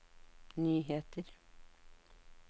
nyheter